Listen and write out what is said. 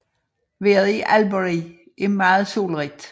Vejret i Albury er meget solrigt